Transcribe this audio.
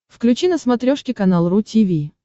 включи на смотрешке канал ру ти ви